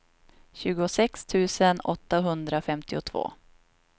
tjugosex tusen åttahundrafemtiotvå